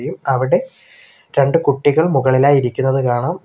അവിടെ രണ്ട് കുട്ടികൾ മുകളിലായി ഇരിക്കുന്നത് കാണാം.